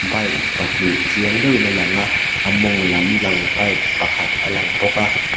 bike pahnih chiang deuhin a lang a a mawng lam lang bike pakhat a lang bawk a.